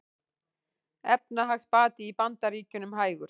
Efnahagsbati í Bandaríkjunum hægur